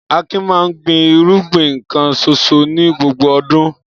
Akin máa ń gbin irúgbìn kan ṣoṣo ní gbogbo ọdún.